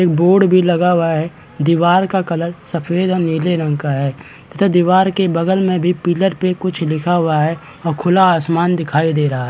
Board भी लगा हुआ है दिवार का कलर सफ़ेद और नीले रंग का है तथा दिवार के बगल मे भी पिलर पे कुछ लिखा हुआ है और खुला आसमान दिखाई दे है।